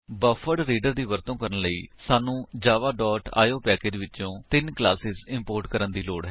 buffered reader ਦੀ ਵਰਤੋ ਕਰਨ ਲਈ ਸਾਨੂੰ ਜਾਵਾ ਡੋਟ ਆਈਓ ਪੈਕੇਜ ਵਿਚੋ ਤਿੰਨ ਕਲਾਸੇਸ ਇੰਪੋਰਟ ਕਰਨ ਦੀ ਲੋੜ ਹੈ